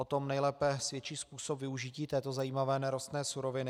O tom nejlépe svědčí způsob využití této zajímavé nerostné suroviny.